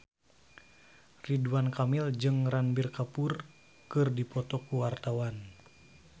Ridwan Kamil jeung Ranbir Kapoor keur dipoto ku wartawan